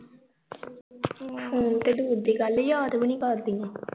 phone ਤੇ ਦੂਰ ਦੀ ਗੱਲ ਯਾਦ ਵੀ ਨੀ ਕਰਦੀਆਂ